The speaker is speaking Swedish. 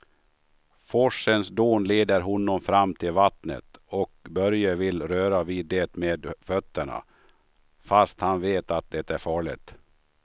Forsens dån leder honom fram till vattnet och Börje vill röra vid det med fötterna, fast han vet att det är farligt.